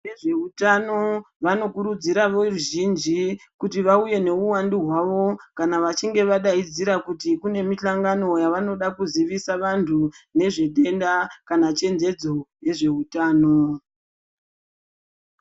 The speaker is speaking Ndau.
Vezveutano vanokurudzira veruzhinji kuti vauye nowuwandu wavo kana vachinge vadaidzira kuti kuti kune mihlangano yavanoda kuzivisa vantu nezvenhenda kana chenjedzo yezveutano.